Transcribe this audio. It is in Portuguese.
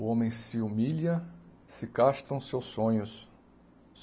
O homem se humilha, se castram seus sonhos.